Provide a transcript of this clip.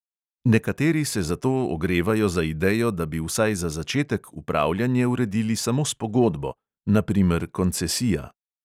Nekateri se zato ogrevajo za idejo, da bi vsaj za začetek upravljanje uredili samo s pogodbo (na primer koncesija).